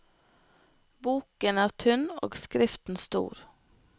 Boken er tynn og skriften stor.